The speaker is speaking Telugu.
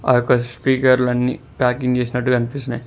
ఆ యొక్క స్పీకర్లన్ని ప్యాకింగ్ చేసినట్టు కనిపిస్తున్నై.